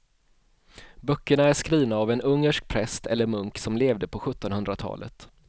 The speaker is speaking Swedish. Böckerna är skrivna av en ungersk präst eller munk som levde på sjuttonhundratalet.